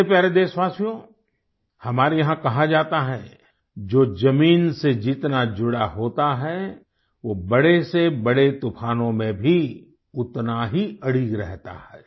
मेरे प्यारे देशवासियो हमारे यहाँ कहा जाता है जो ज़मीन से जितना जुड़ा होता है वो बड़ेसेबड़े तूफानों में भी उतना ही अडिग रहता है